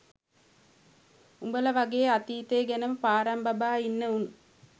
උඹලා වගේ අතීතය ගැනම පාරම් බබා ඉන්න උන්